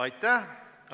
Aitäh!